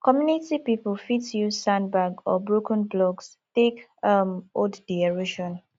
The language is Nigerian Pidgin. community pipo fit use sand bag or broken blocks take um hold di erosion